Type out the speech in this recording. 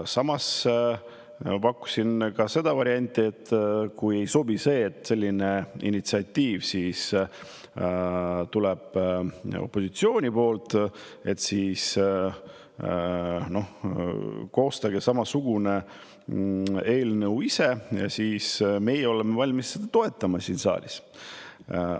Samas pakkusin ka varianti, et kui ei sobi, et selline initsiatiiv opositsiooni poolt tuleb, koostage samasugune eelnõu ise ja siis oleme meie valmis seda siin saalis toetama.